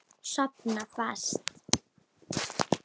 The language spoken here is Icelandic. Sofna fast.